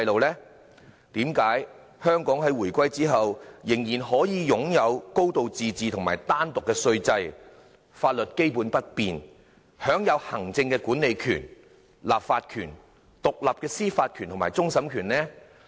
為何香港在回歸後仍然可以擁有"高度自治"和單獨的稅制，法律基本不變，享有行政管理權、立法權、獨立的司法權和終審權？